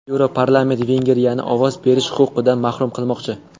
Yevroparlament Vengriyani ovoz berish huquqidan mahrum qilmoqchi.